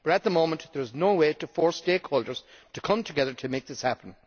but at the moment there is no way to force stakeholders to come together to make this happen.